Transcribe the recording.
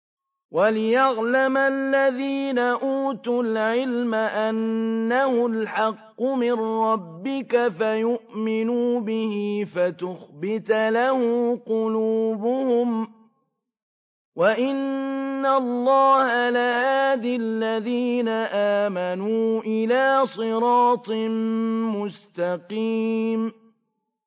وَلِيَعْلَمَ الَّذِينَ أُوتُوا الْعِلْمَ أَنَّهُ الْحَقُّ مِن رَّبِّكَ فَيُؤْمِنُوا بِهِ فَتُخْبِتَ لَهُ قُلُوبُهُمْ ۗ وَإِنَّ اللَّهَ لَهَادِ الَّذِينَ آمَنُوا إِلَىٰ صِرَاطٍ مُّسْتَقِيمٍ